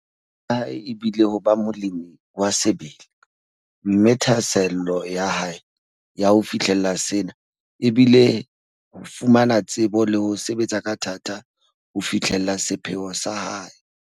Toro ya hae e bile ho ba molemi wa sebele, mme thahasello ya hae ya ho fihlella sena e bile ho fumana tsebo le ho sebetsa ka thata ho fihlella sepheo sa hae.